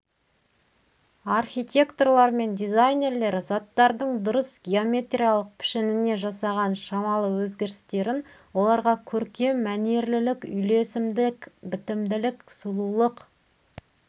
архитекторлар мен дизайнерлер заттардың дұрыс геометриялық пішініне жасаған шамалы өзгерістерін оларға көркем мәнерлілік үйлесімдік бітімділік сұлулық